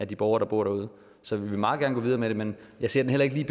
de borgere der bor derude så vi vil meget gerne gå videre med det men jeg kan heller ikke lige